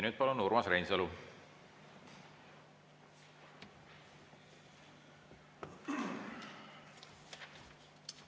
Nüüd palun, Urmas Reinsalu!